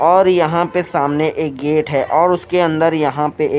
और यहां पे सामने एक गेट है और उसके अंदर यहां पे--